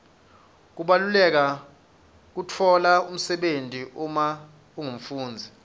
kubaluleka kwekutfola umsebenti uma ungumfundzi